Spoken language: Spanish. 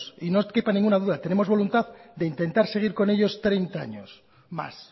y no les quepa ninguna duda tenemos voluntad de intentar seguir con ellos treinta años más